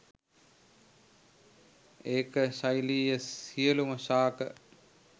ඒක ශෛලීය සියලූම ශාක